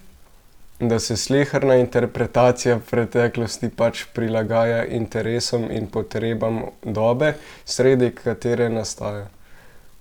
Da se sleherna interpretacija preteklosti pač prilagaja interesom in potrebam dobe, sredi katere nastaja?